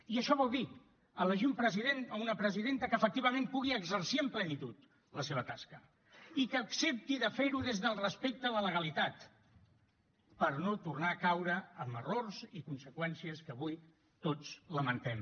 i això vol dir elegir un president o una presidenta que efectivament pugui exercir amb plenitud la seva tasca i que accepti fer ho des del respecte a la legalitat per no tornar a caure en errors i conseqüències que avui tots lamentem